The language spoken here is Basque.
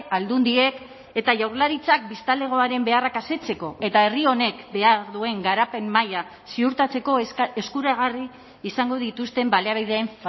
aldundiek eta jaurlaritzak biztanlegoaren beharrak asetzeko eta herri honek behar duen garapen maila ziurtatzeko eskuragarri izango dituzten baliabideen